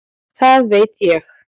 Það veit ég